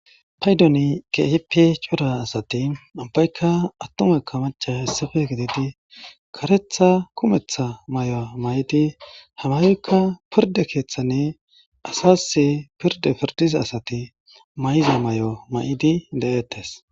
Payddon kehippe coora asati ubbaykka atumayka maccaay issippe gididi kareththa kummetha maayo mayidi ha mayoyika pirdde keththan asas pirde pirddiza asati mayiza mayo mayidi de7ettes.